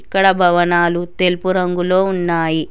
ఇక్కడ భవనాలు తెలుపు రంగులో ఉన్నాయి.